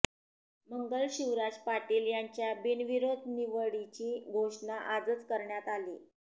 मंगल शिवराज पाटील यांच्या बिनविरोध निवडीची घोषणा आजच करण्यात आली